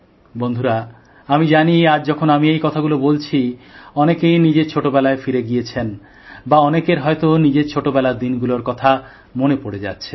বন্ধুরা আমি জানি আজ যখন আমি এই কথাগুলো বলছি অনেকেই নিজের ছোটবেলায় ফিরে গেছেন বা অনেকের হয়ত নিজের ছোটবেলার দিনগুলোর কথা মনে পড়ে যাচ্ছে